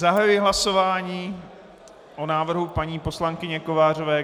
Zahajuji hlasování o návrhu paní poslankyně Kovářové.